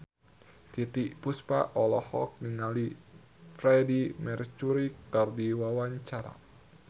Titiek Puspa olohok ningali Freedie Mercury keur diwawancara